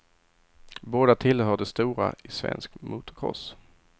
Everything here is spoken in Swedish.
Båda tillhör de stora i svensk motocross.